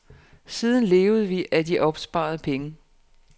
Siden levede vi af opsparede penge.